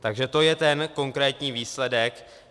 Takže to je ten konkrétní výsledek.